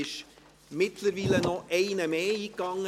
Mittlerweile ist noch ein weiterer eingegangen.